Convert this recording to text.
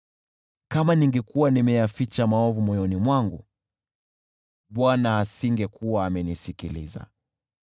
Kama ningekuwa nimeyaficha maovu moyoni mwangu, Bwana asingekuwa amenisikiliza;